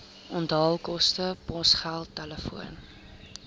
onthaalkoste posgeld telefoon